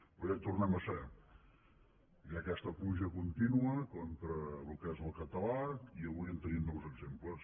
però ja hi tornem a ser hi ha aquesta pluja contínua contra el que és el català i avui en tenim nous exemples